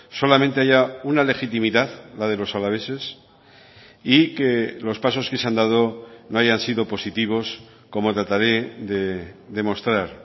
solamente haya una legitimidad la de los alaveses y que los pasos que se han dado no hayan sido positivos como trataré de demostrar